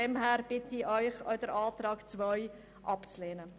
Deshalb bitte ich Sie, auch die Planungserklärung 2 abzulehnen.